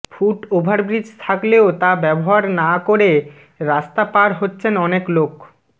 foot overbridge থাকলেও তা ব্যবহার না করে রাস্তা পার হচ্ছেন অনেক লোক